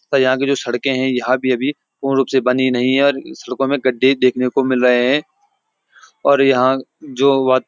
और यहाँ की जो सड़कें हैं यहाँ भी अभी पूर्ण रूप से बनी नहीं है और सड़कों में गड्ढे देखने को मिल रहे हैं और यहाँ जो वा --